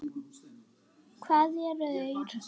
Hvað eru þeir?